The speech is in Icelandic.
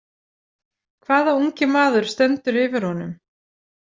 Hvaða ungi maður stendur yfir honum?